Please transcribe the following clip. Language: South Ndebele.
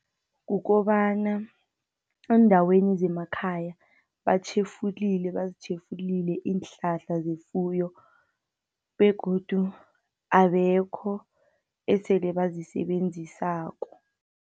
Kukobana eendaweni zemakhaya batjhefulile, bazitjhefulile iinhlahla zefuyo, begodu abekho esele bazisebenzisako.